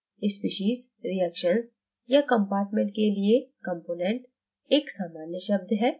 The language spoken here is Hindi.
species reactions या compartment के लिए component एक सामान्य शब्द है